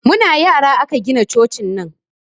Muna yara aka gina cocin nan